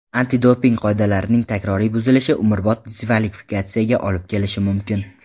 Antidoping qoidalarining takroriy buzilishi umrbod diskvalifikatsiyaga olib kelishi mumkin.